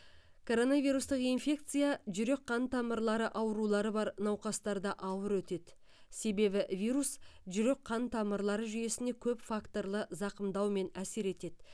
коронавирустық инфекция жүрек қан тамырлары аурулары бар науқастарда ауыр өтеді себебі вирус жүрек қан тамырлары жүйесіне көп факторлы зақымдаумен әсер етеді